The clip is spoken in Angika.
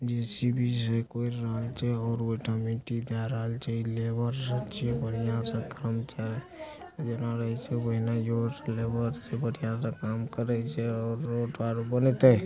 जे.सी.बी. लेबर छे बढ़िया सा क्रमचारी लेबर से बढ़िया से कम करई छे और रोड बनैते --